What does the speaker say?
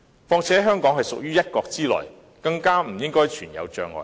況且，香港屬於"一國"之內，更不應存有障礙。